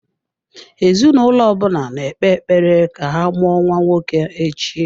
Ezinụlọ ọ bụla na-ekpe ekpere ka ha mụọ nwa nwoke echi.